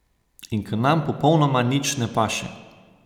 In k nam popolnoma nič ne paše.